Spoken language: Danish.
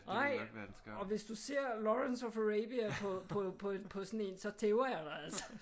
Nej! Og hvis du ser Lawrence of Arabia på på på sådan en så tæver jeg dig altså